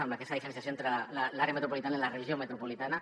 amb aquesta diferenciació entre l’àrea metropolitana i la regió metropolitana